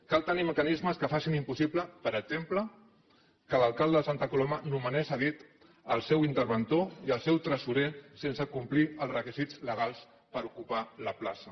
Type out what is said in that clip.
cal tenir mecanismes que facin impossible per exemple que l’alcalde de santa coloma nomenés a dit el seu interventor i el seu tresorer sense complir els requisits legals per ocupar la plaça